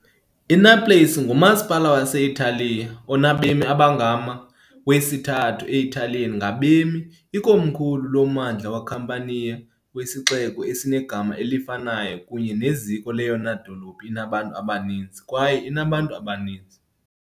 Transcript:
INaples ngumasipala wase-Italiya onabemi abangama , wesithathu e-Italiyane ngabemi, ikomkhulu loMmandla weCampania, wesixeko esinegama elifanayo kunye neziko leyona dolophu inabantu abaninzi kwaye inabantu abaninzi.